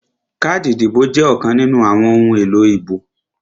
Káàdì ìdìbò jẹ́ ọ̀kan nínú àwọn ohun èlò ìbò